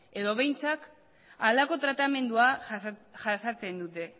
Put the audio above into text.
edo behintzat halako tratamendua jasaten dute